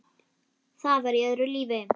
Það var í öðru lífi.